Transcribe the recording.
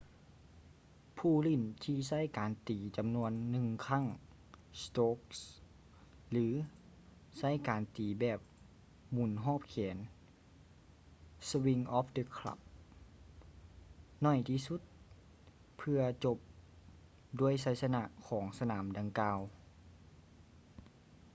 ຜູ້ຫຼິ້ນທີ່ໃຊ້ການຕີຈຳນວນລູກໜຶ່ງຄັ້ງ strokes ຫຼື ໃຊ້ການຕີແບບໝູນຮອບແຂນ swings of the club ໜ້ອຍທີ່ສຸດ ເພື່ອຈົບດ້ວຍໄຊຊະນະຂອງສະໜາມດັ່ງກ່າວ